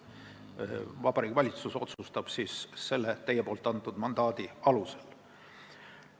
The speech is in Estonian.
Nii et Vabariigi Valitsus otsustab selle teie antud mandaadi alusel.